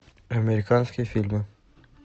американские фильмы